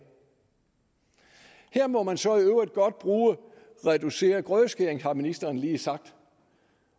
her må man så i øvrigt godt bruge reduceret grødeskæring har ministeren lige sagt